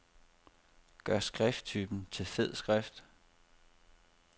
Gør skrifttypen til fed skrift.